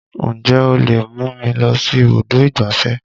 Ǹjẹ́ o lè mú mi lọ sí ibùdó ìgbáfẹ́?